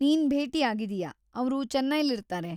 ನೀನ್‌ ಭೇಟಿ ಆಗಿದೀಯ, ಅವ್ರು ಚೆನ್ನೈಲಿರ್ತಾರೆ.